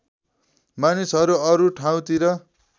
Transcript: मानिसहरू अरू ठाउँतिर